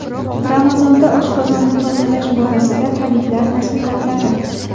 Ramazonda oshqozonni tozalash borasida tabiblar nasihatlari.